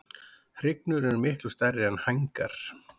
Hrygnur eru miklu stærri er hængar.